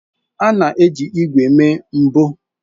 A na-eji ígwè mee mbọ.